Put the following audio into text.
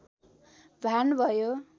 भान भयो